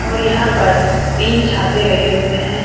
और यहाँ पर तीन छाते लगे हुएँ हैं।